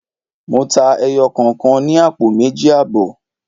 Mo ta ẹyọ kọ̀kan ní àpò méjì àbọ̀.